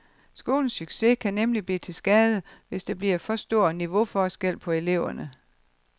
Skolens succes kan nemlig blive til skade, hvis der bliver for stor niveauforskel på eleverne.